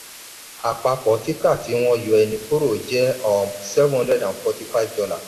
àpapọ̀ títà tí wọ́n yọ ènì kúrò jẹ́ um seven hundred and forty-five dollars.